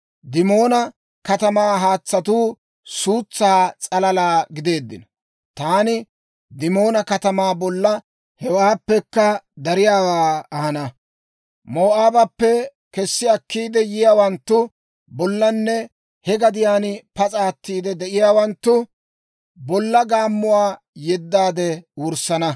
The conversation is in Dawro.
Dimoona katamaa haatsatuu suutsaa s'alalaa gideeddino; taani Dimoona katamaa bolla hewaappekka dariyaawaa ahana. Moo'aabappe kessi akkiide yiyaawanttu bollanne he gadiyaan pas'a atiide de'iyaawanttu bolla gaammuwaa yeddaade wurssana.